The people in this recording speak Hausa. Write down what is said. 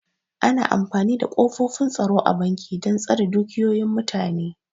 Ana amfani da ƙofofin tsaro a banki dan tsare dukiyoyin mutane